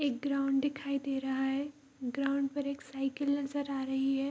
एक ग्राउंड दिखाई दे रहा है ग्राउंड पर एक साइकल नजर आ रही है।